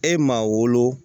E maa wolo